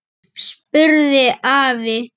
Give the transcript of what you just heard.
spurði afi.